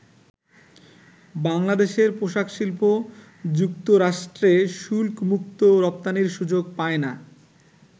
বাংলাদেশের পোষাক শিল্প যুক্তরাষ্ট্রে শুল্ক মুক্ত রপ্তানির সুযোগ পায় না।